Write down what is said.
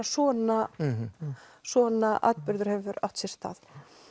svona svona atburður hefur átt sér stað